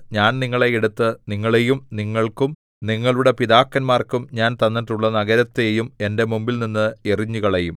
ഞാൻ നിങ്ങളെ എടുത്ത് നിങ്ങളെയും നിങ്ങൾക്കും നിങ്ങളുടെ പിതാക്കന്മാർക്കും ഞാൻ തന്നിട്ടുള്ള നഗരത്തെയും എന്റെ മുമ്പിൽനിന്ന് എറിഞ്ഞുകളയും